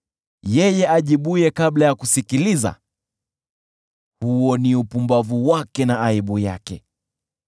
Yeye ajibuye kabla ya kusikiliza, huo ni upumbavu wake na aibu yake.